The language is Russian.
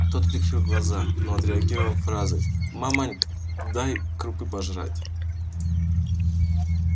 тот прикрыл глаза но отреагировал фразой маманька дай крупы пожрать